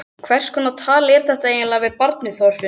Hverskonar tal er þetta eiginlega við barnið Þorfinnur?